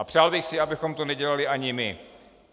A přál bych si, abychom to nedělali ani my.